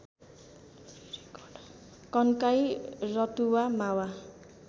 Kankai Ratuwa Mawa